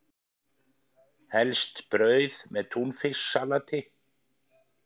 Helst brauð með túnfisksalati.